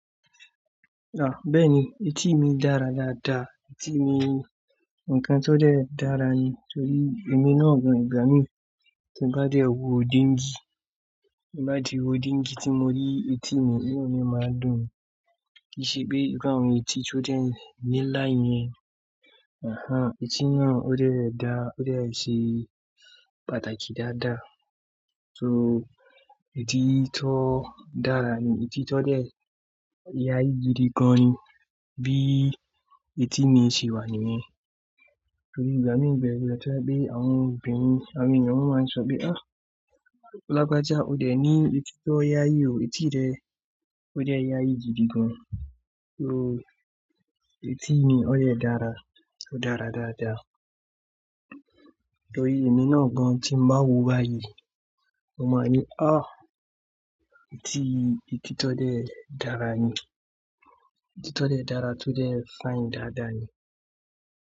Ah! Bẹ́ẹ̀ni etí mi dára dáadáa, etí mi nǹkan tó dẹ́ dára ni, torí èmi náà gan ìgbà mí tí n bá di ọ̀wọ́ díńgì, bá di ọ̀wọ́ díńgì tí mo rí etí mi, inu mi máa ń dùn mí. Kí í ṣe pé ìru àwọn tí tí ó dẹ́ ní lá yẹn, àá etí náà ó dẹ́ dá, ó dẹ́ ṣe pàtàkì dáadáa. So etí tó dára ni, etí tó dẹ́ yí ayé gidi gán ni bí etí mi ṣe wà níyẹn. Torí ìgbà mí ń bẹ̀ lọ̀tọ̀ bí àwọn obìnrin, àwọn ènìyàn máa ń sọ pé "Ah! Lagbaja ó dẹ ní etí tó yáayí o, etí rẹ ó dẹ́ yáayí gidi gán." So etí mi ó yẹ dára, ó dára dáadáa. Torí èmi náà gan tí n bá wòó báyìí, mo máa ní "Ah! Etí, etí tó dẹ́ dára ni, etí tó dẹ́ dára tó dẹ́ fine dáadáa ni."